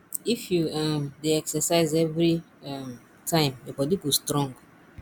if you um dey exercise every um time your body go strong